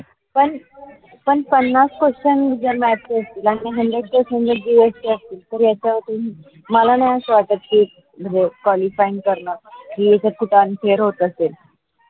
पण पन्नास question जर math ला असतील. आणि म्हनजे मला नाहीअसं वाटत की जो qualifying करना होत असेल. कि